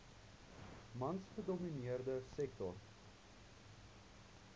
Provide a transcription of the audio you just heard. mans gedomineerde sektor